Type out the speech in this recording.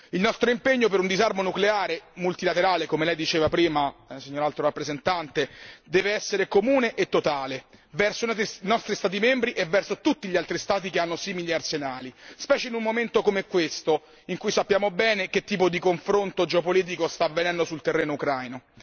Il nostro impegno per un disarmo nucleare multilaterale, come lei diceva prima, signora Alto rappresentante, deve essere comune e totale verso i nostri Stati membri e verso tutti gli altri Stati che hanno simili arsenali, specie in un momento come questo in cui sappiamo bene che tipo di confronto geopolitico sta avvenendo sul terreno ucraino.